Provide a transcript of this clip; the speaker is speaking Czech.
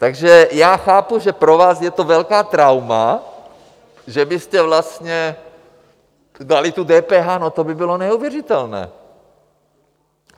Takže já chápu, že pro vás je to velké trauma, že byste vlastně dali to DPH, no to by bylo neuvěřitelné!